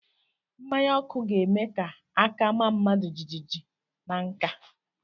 Mmanya ọkụ ga-eme ka aka maa mmadụ jijiji na nka